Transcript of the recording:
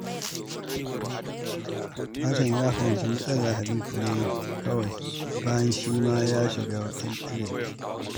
Hassan ya fahimci matsalar Habib ne kawai bayan shi ma ya shiga irinta.